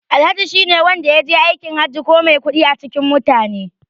Alhaji shine wanda yaje Hajji ko mai kuɗi a cikin mutane.